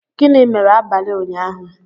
Gịnị mere abalị ụnyahụ?